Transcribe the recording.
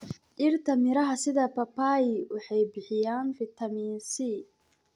Dhirta miraha sida papayi waxay bixiyaan fitamiin C.